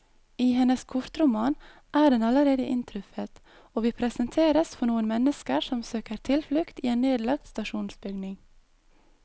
I hennes kortroman er den allerede inntruffet, og vi presenteres for noen mennesker som søker tilflukt i en nedlagt stasjonsbygning.